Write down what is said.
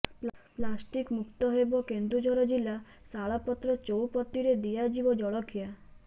plastic ମୁକ୍ତ ହେବ କେନ୍ଦୁଝର ଜିଲ୍ଲା ଶାଳପତ୍ର ଚଉପତିରେ ଦିଆଯିବ ଜଳଖିଆ